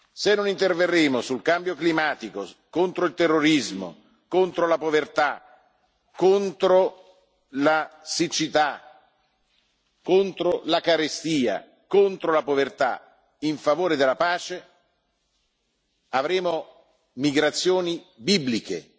Se non interverremo sul cambio climatico, contro il terrorismo, contro la povertà, contro la siccità, contro la carestia e contro la povertà in favore della pace, avremo migrazioni bibliche.